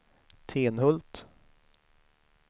Tenhult